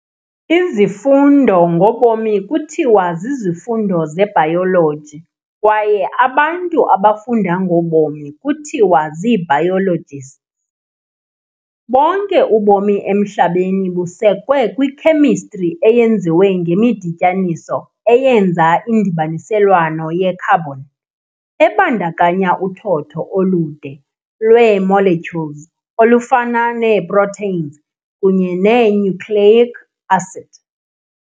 Izifundo ngobomi kuthiwa zizifundo ze-bayoloji kwaye abantu abafunda ngobomi kuthiwa zii-biologists. Bonke ubomi emhlabeni busekwe kwi-Khemistri eyenziwe ngemidityaniso eyenza indibaniselwano ye-carbon, ebandakanya uthotho olude lwee-molecules olufana nee- proteins kunye nee-nucleic acid.